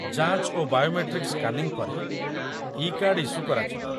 ଯାଞ୍ଚ ଓ biometric scanning ପରେ, ଇ କାର୍ଡ ଇସ୍ୟୁ କରାଯିବ